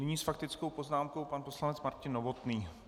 Nyní s faktickou poznámkou pan poslanec Martin Novotný.